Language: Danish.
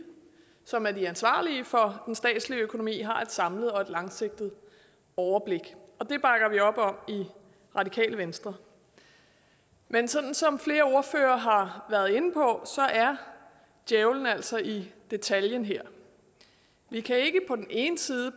som er de ansvarlige for den statslige økonomi har et samlet og langsigtet overblik det bakker vi op om i radikale venstre men sådan som flere ordførere har været inde på er djævlen altså i detaljen her vi kan ikke på den ene side